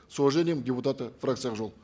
с уважением депутаты фракции ак жол